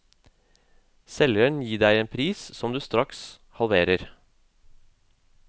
Selgeren gir deg en pris, som du straks halverer.